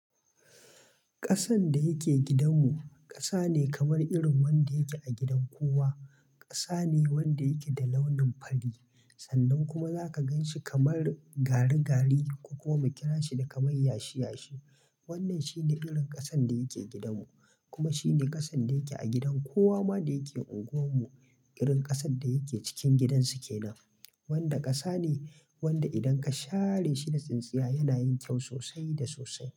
Kasan da yake gidan mu, kasa ne kamar irin wanda yake a gidan kowa. Ƙasa ne wanda yake da launin fari sannan kuma zaka gan shi kamar gari-gari ko kuma mu kira shi da kamar yashi-yashi. Wannan shi ne irin kasan da yake gidanmu kuma shi ne kasan da yake a gidan kowa ma da yake unguwar mu. Irin kasan da yake cikin gidan su ke nan, wanda ƙasa ne wanda idan ka share shi da tsintsiya yana yin kyau sosai da sosai.